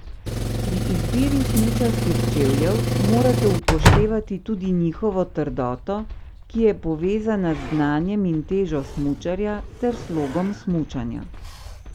Pri izbiri smučarskih čevljev morate upoštevati tudi njihovo trdoto, ki je povezana z znanjem in težo smučarja ter slogom smučanja.